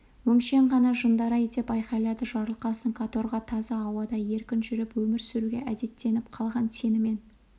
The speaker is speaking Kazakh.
өңшең ғана жындар-ай деп айқайлады жарылқасын каторга таза ауада еркін жүріп өмір сүруге әдеттеніп қалған сенімен